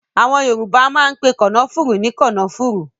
Àwọn Yorùbá máa ń pe kànáfùrú ní kànáfùrú